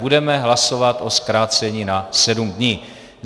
Budeme hlasovat o zkrácení na sedm dní.